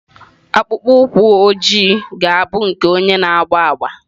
Akpụkpọ ụkwụ ojii ga-abụ nke onye na-agba agba.